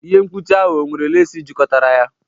Ihe mkpuchi ahụ ọ nwere lace jikọtara ya?